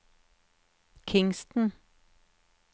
Kingston